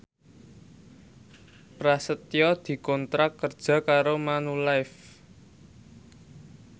Prasetyo dikontrak kerja karo Manulife